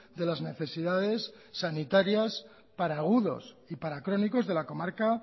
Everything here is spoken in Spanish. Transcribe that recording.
de las necesidades sanitarias para agudos y para crónicos de la comarca